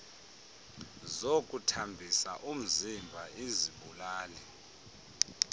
zokuthambisa umziba izibulali